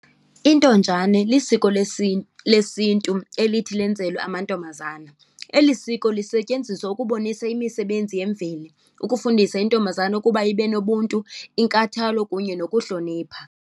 Intonjane lisiko lesiNtu elithi lenzelwe amantombazana. Eli siko lisetyenziswa ukubonisa imisebenzi yemveli, ukufundisa intombazana ukuba ibe nobuntu, inkathalo kunye nokuhlonipha.